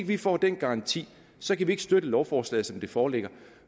vi får den garanti så kan vi ikke støtte lovforslaget som det foreligger